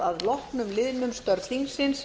að loknum liðnum